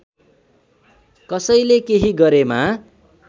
कसैले केही गरेमा